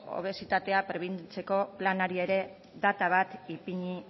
obesitatea prebenitzeko planari ere data bat ipini